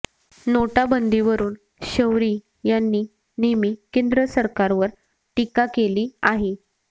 नोटाबंदीवरून शौरी यांनी नेहमी केंद्र सरकारवर टीका केली आहे